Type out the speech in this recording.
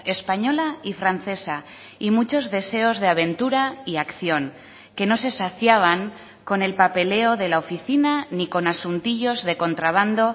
española y francesa y muchos deseos de aventura y acción que no se saciaban con el papeleo de la oficina ni con asuntillos de contrabando